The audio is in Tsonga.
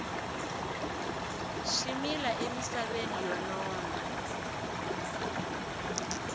swi mila emisaveni yo nona